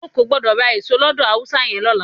O ò gbọ́dọ̀ ra èso lọ́dọ̀ Haúsá yẹn lọ́la.